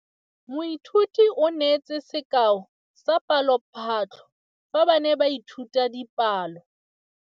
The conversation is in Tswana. Moithuti o neetse sekaô sa palophatlo fa ba ne ba ithuta dipalo.